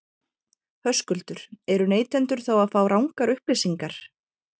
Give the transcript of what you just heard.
Höskuldur: Eru neytendur þá að fá rangar upplýsingar?